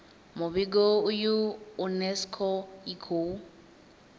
muvhigo uyu unesco i khou